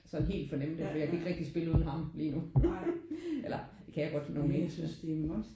Sådan helt fornemme det for jeg kan ikke rigtig spille uden ham lige nu eller det kan jeg godt nogle enkelte